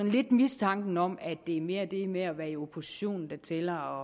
en lille mistanke om at det mere er det med at være i opposition der tæller